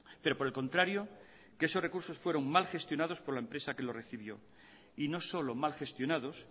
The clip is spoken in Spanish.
pero por el contrario que esos recursos fueron mal gestionados por la empresa que los recibió y no solo mal gestionados